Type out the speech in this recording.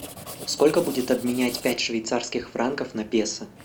сколько будет обменять пять швейцарских франков на песо